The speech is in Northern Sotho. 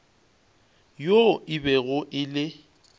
yoo e bego e le